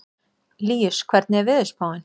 Líus, hvernig er veðurspáin?